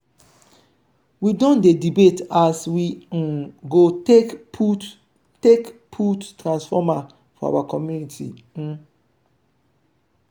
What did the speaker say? we don dey debate as we um go take put take put transformer for our community. um